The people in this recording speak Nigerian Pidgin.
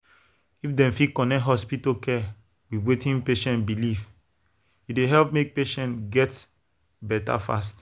if dem fit connect hospital care with wetin patient believe e dey help make patient get better fast.